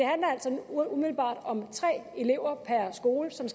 umiddelbart om tre elever per skole som